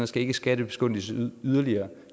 skal ikke skattebegunstiges yderligere